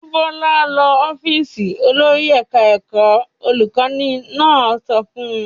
"Mú Bọ́lá lọ ọ́fíísì olórí ẹ̀ka-ẹ̀kọ́!" Olùkọ́ní náà sọ fún un.